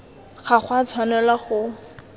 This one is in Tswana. ga go a tshwanelwa go